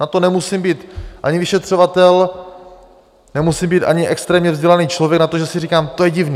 Na to nemusím být ani vyšetřovatel, nemusím být ani extrémně vzdělaný člověk na to, že si říkám: To je divné.